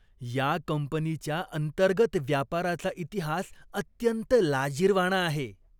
या कंपनीच्या अंतर्गत व्यापाराचा इतिहास अत्यंत लाजिरवाणा आहे.